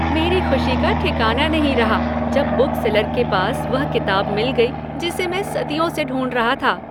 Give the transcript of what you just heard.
मेरी खुशी का ठिकाना नहीं रहा जब बुक सेलर के पास वह किताब मिल गई जिसे मैं सदियों से ढूंढ रहा था!